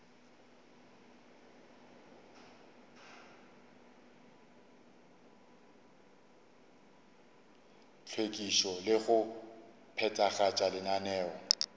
hlwekišo le go phethagatša lenaneo